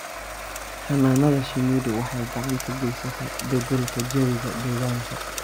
Xannaanada shinnidu waxay gacan ka geysataa beddelka jawiga deegaanka.